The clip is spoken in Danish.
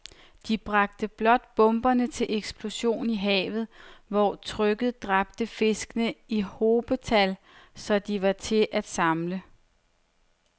De bragte blot bomberne til eksplosion i havet, hvor trykket dræbte fiskene i hobetal, så de var til at samle